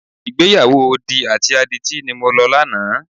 Ìgbéyàwó odi àti adití ni mo lọ lánàá.